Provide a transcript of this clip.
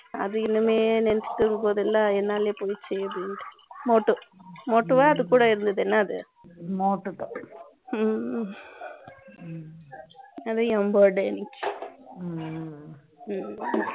அதை இனிமே நெனச்சுட்டு இருக்கும்போதெல்லாம் என்னால என்னால போயிருச்சு அப்படின்னுட்டேன் motu motu அது கூட இருந்தது motu அதையும் bird இருந்துச்சு